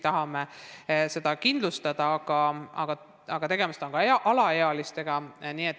Tegemist on ju ka alaealistega.